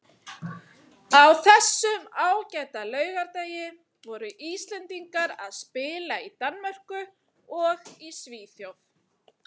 Á þessum ágæta laugardegi voru Íslendingar að spila í Danmörku og í Svíþjóð.